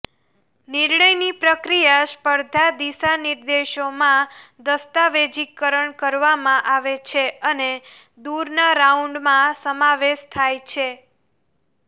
નિર્ણયની પ્રક્રિયા સ્પર્ધા દિશાનિર્દેશોમાં દસ્તાવેજીકરણ કરવામાં આવે છે અને દૂરના રાઉન્ડમાં સમાવેશ થાય છે